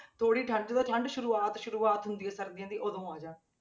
ਥੋੜ੍ਹੀ ਠੰਢ ਜਦੋਂ ਠੰਢ ਸ਼ੁਰੂਆਤ ਸ਼ੁਰੂਆਤ ਹੁੰਦੀ ਹੈ ਸਰਦੀਆਂ ਦੀ ਉਦੋਂ ਆ ਜਾਣ।